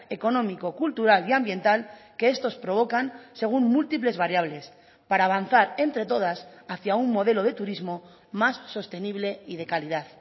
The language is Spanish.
económico cultural y ambiental que estos provocan según múltiples variables para avanzar entre todas hacia un modelo de turismo más sostenible y de calidad